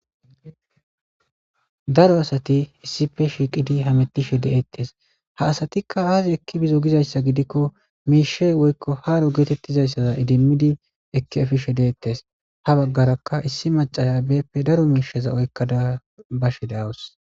Daro asathi issipe shiiqidi hameththishe de7eeththes; ha asathikka aazee ekki bizoo gizayssa gidikko miishshay woykko haaro geeththidayssa idimmidi ekki efishe deeththes; ha baggarakka issi maccara daro miishshaza oykkada bashe de7awus.